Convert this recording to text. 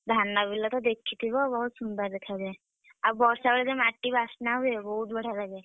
ଧାନ ବିଲ ତ ଦେଖିଥିବ ବହୁତ ସୁନ୍ଦର ଦେଖାଯାଏ। ଆଉ ବର୍ଷା ବେଳେ ଯୋଉ ମାଟି ବାସ୍ନା ହୁଏ ବହୁତ ବଢିଆ ଲାଗେ।